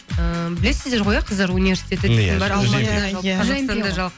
ііі білесіздер ғой иә қыздар университеті дейтін бар